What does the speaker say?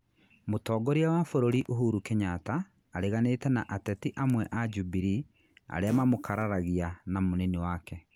Mutongoria wa bũrũri Uhuru Kenyatta areganĩte na ateti amwe a Jubilee arĩa mamũkararagĩa na munini wake.